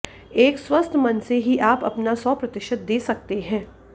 एक स्वस्थ मन से ही आप अपना सौ प्रतिशत दे सकते हैं